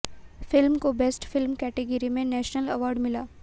film को best film category में national award मिला